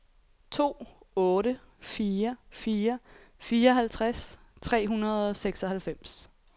to otte fire fire fireoghalvtreds tre hundrede og seksoghalvfems